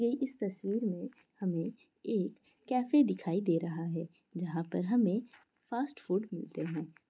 ये इस तस्वीर में हमें एक कैफे दिखाई दे रहा है जहां पर हमें फास्टफूड मिलते है।